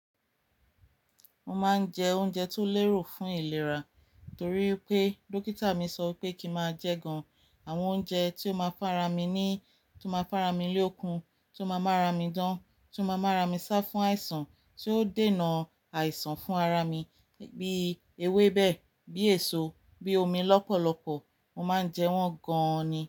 Mo máa ń jẹ oúnjẹ tó lérò fún ìlera torí pé dókítà mi sọ pé kí ń máa jẹẹ́ gan-an. Àwọn oúnjẹ tí ó máa fún ara mi ní, tí ó máa fara mi lókun, tí ó máa mára mi dán, tí ó máa mára mi sá fún àìsàn, tí óó dènà àìsàn fún ara mi bíi ewébẹ̀, bí èso, bí omi lọ́pọ̀lọpọ̀. Mo máa ń jẹ wọ́n gan-an ni.